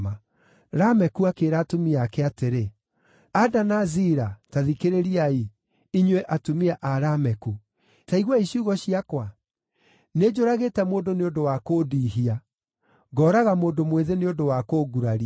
Lameku akĩĩra atumia ake atĩrĩ, “Ada na Zila, taa thikĩrĩriai; inyuĩ atumia a Lameku, ta iguai ciugo ciakwa. Nĩnjũragĩte mũndũ nĩ ũndũ wa kũndiihia, ngooraga mũndũ mwĩthĩ nĩ ũndũ wa kũnguraria.